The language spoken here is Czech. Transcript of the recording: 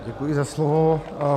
Děkuji za slovo.